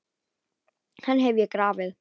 Hann hef ég grafið.